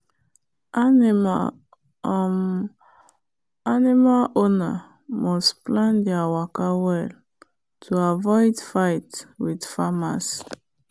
animal um owner must plan there waka well to avoid fight with farmers.